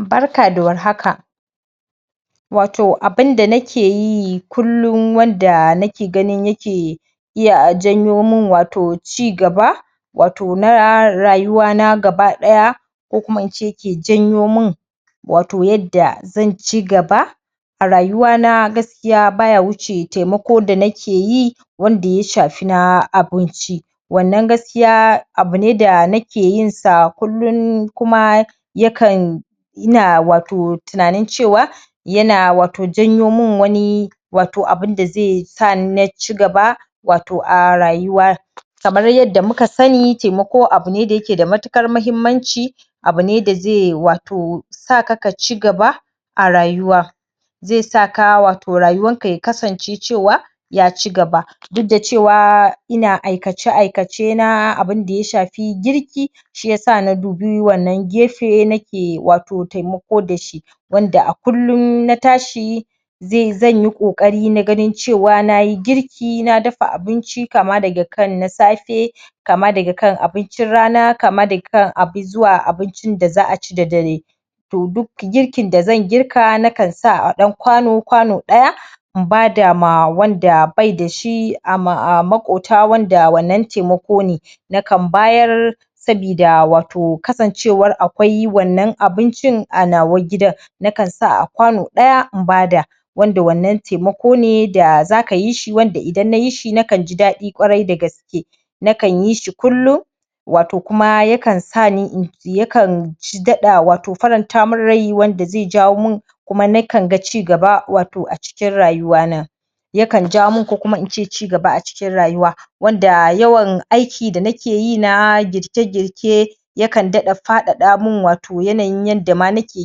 Barka da warhaka! Wato abinda nake yi kullum wanda nake ganin yake iya janyo min wato ci gaba wato na rayuwana gaba ɗaya ko kuna in ce yake janyo min yadda zan ci gaba a rayuwana baya wuce taimako da nake yi wanda ya shafi na abinci wannan gaskiya abu ne da nake yinsa kullum kuma yakan ina wato tunanin cewa wato janyo min wani wato abinda zai sa na ci gaba wato a rayuwa kamar yadda muka sani taimako abu ne da yake da matuƙar muhimmanci abu ne da zai wato zai saka ka ci gaba a rayuwa zai saka wato rayuwarka ya kasance cewa ya ci gaba, duk da cewa ina aikace- aikace na abinda ya shafi girki shi ya sa na dubi wannan gefe nake wato taimako da shi wanda a kullum na tashi zan yi ƙoƙari na ganin cewa na yi girki kama daga kana abincin rana, kama daga kan zuwa abincin da za a da dare. To duk girkin da zan girka nakan sa a ɗau kwano, kwano ɗaya in bada ma wanda bai da shi a maƙota wanda wannan taimako ne nakan bayar sabida wato kasancewar akwai wannan abincin a nawa gidan nakan sa a kwano ɗaya in bada wanda wannan taimako ne da za ka yi shi wanda idan na yi shi nakan ji ɗaɗi kwarai da gaske nakan yi shi kullum wato kuma yakan sani yakan daɗa wato faranta min rai wanda zai jawo min kuma nakan ga ci gaba wato a cikin rayuwana yakan ja min ko kuma in ce ci gaba a cikin rayuwa wanda yawan aiki da ne ke yi na girke-girke yakan daɗa faɗaɗa min wato yanayin yadda ma nake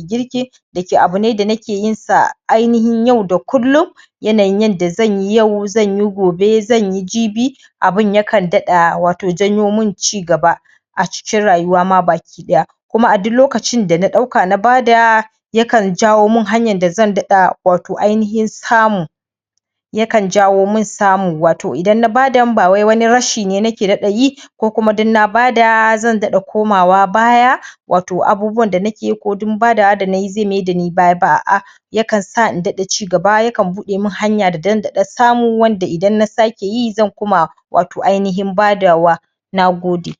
girki dake abu ne da nake yinsa ainahin yau da kullum yanayin yadda zan yi yau, zan yi gobe, zan yi jibi abin yakan daɗa wato janyo min ci gaba a cikin rayuwa ma baki ɗaya, kuma a duk lokacin da na ɗauka na bada yakan jawo min hanyar da zan daɗa wato ainahin samu yakan jawo in samu, wato idan na badan ba wai wani rashi ne nake daɗa yi ko kuma don na bada zan daɗa komawa baya wato abubuwan nake ko don badawa da nai zai mai dani baya ba a'a yakan sa in daɗa ci gaba yakan buɗe min hanya don daɗar samu wanda indan na na ake yi zan kuma wato ainahin badawa. Na gode!